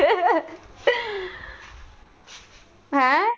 ਹੈਂ।